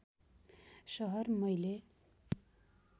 सहर मैले